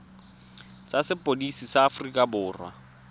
tsa sepodisi sa aforika borwa